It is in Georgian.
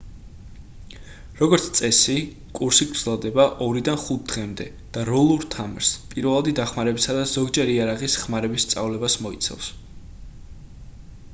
როგორც წესი კურსი გრძელდება 2-დან 5 დღემდე და როლურ თამაშს პირველადი დახმარებისა და ზოგჯერ იარაღის ხმარების სწავლებას მოიცავს